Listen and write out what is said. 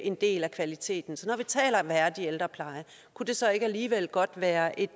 en del af kvaliteten så når vi taler om værdig ældrepleje kunne det så ikke alligevel godt være et